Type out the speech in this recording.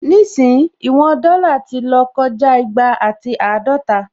Nísìyìí, ìwọn dọ́là ti lọ́ kọjá igba àti àádọta